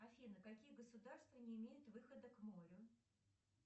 афина какие государства не имеют выхода к морю